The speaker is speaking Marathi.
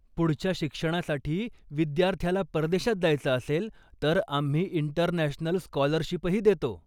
पुढच्या शिक्षणासाठी विद्यार्थ्याला परदेशात जायचं असेल, तर आम्ही इंटरनॅशनल स्कॉलरशिपही देतो.